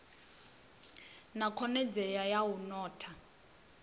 na khonadzeo ya u notha